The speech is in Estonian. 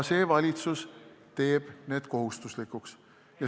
See valitsus teeb need kohustuslikuks.